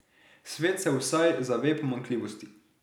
Svet se vsaj zave pomanjkljivosti.